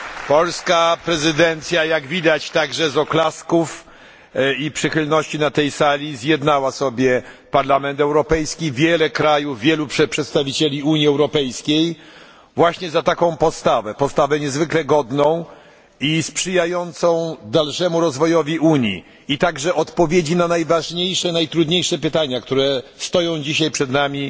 Polska prezydencja, jak widać także po oklaskach i przychylności na tej sali, zjednała sobie Parlament Europejski, wiele krajów, wielu przedstawicieli Unii Europejskiej właśnie za taką postawę postawę niezwykle godną i sprzyjającą dalszemu rozwojowi Unii, a także znalezieniu odpowiedzi na najważniejsze, najtrudniejsze pytania, które stoją dzisiaj przed nami